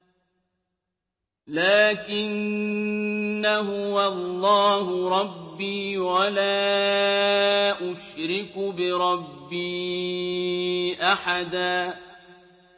لَّٰكِنَّا هُوَ اللَّهُ رَبِّي وَلَا أُشْرِكُ بِرَبِّي أَحَدًا